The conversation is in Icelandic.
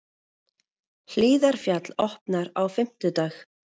Hlíðarfjall opnar á fimmtudag